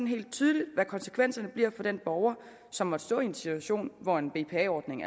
helt tydeligt hvad konsekvenserne bliver for den borger som måtte stå i en situation hvor en bpa ordning